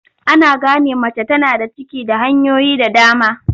Ana gane mace tana da ciki da hanyoyi da dama.